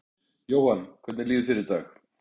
Jóhann: Hvernig líður þér í dag?